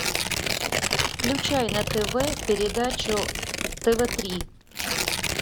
включай на тв передачу тв три